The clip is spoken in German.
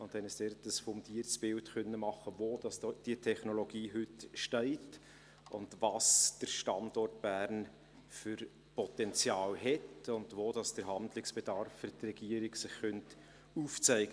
Wir haben uns dort ein fundiertes Bild machen können, wo diese Technologie heute steht und welches Potenzial der Standort Bern hat und wo sich für die Regierung Handlungsbedarf aufzeigen könnte.